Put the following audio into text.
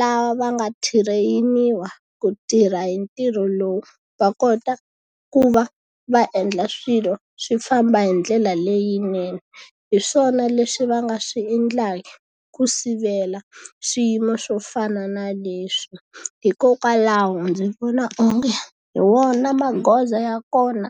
lava va nga tireyiniwa ku tirha hi ntirho lowu, va kota ku va va endla swilo swi famba hi ndlela leyinene. Hi swona leswi va nga swi endlaka ku sivela swiyimo swo fana na leswi. Hikokwalaho ndzi vona onge hi wona magoza ya kona